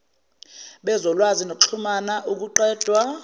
bezolwazi nokuxhumna ukuqedwa